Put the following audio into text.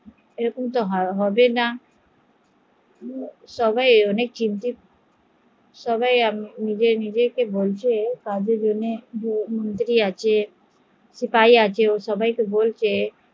এরকম তো হবেনা সবাই সবাই কে বসলে এরকম তো হবেনা সবাই সবাই কে বলছে